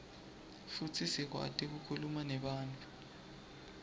futsi sikwati kukhuluma nebantfu